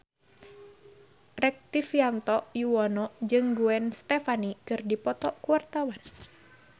Rektivianto Yoewono jeung Gwen Stefani keur dipoto ku wartawan